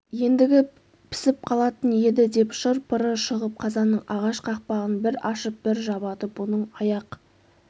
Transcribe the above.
ендігі пісіп қалатын еді деп шыр-пыры шығып қазанның ағаш қақпағын бір ашып бір жабады бұның аяқ